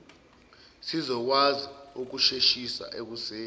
sizokwazi ukusheshisa ekususeni